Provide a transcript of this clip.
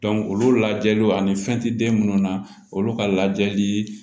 olu lajɛli ani fɛn tɛ den munnu na olu ka lajɛli